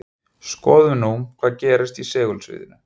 skoðum nú hvað gerist í segulsviðinu